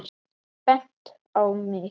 Bent á mig!